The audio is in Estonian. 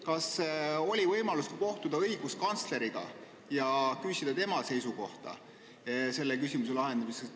Kas sul oli võimalust kohtuda ka õiguskantsleriga ja küsida tema seisukohta selle küsimuse lahendamisel?